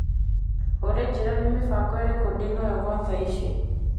Olĩ njĩra nĩ mĩbango ĩrĩko ndĩ nayo gwa tha ici.